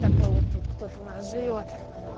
такой вот тут кто-то у нас живёт